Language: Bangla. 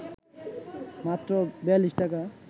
মাত্র ৪২ টাকা